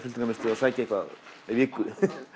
að sækja eitthvað á viku